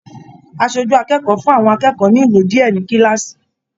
Aṣojú akẹ́kọ̀ọ́ fún àwọn akẹ́kọ̀ọ́ ní ìwé diẹ ní kilaasi.